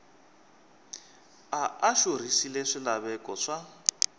a a xurhisile swilaveko swa